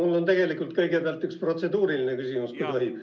Mul on tegelikult kõigepealt üks protseduuriline küsimus, kui tohib.